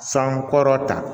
San kɔrɔta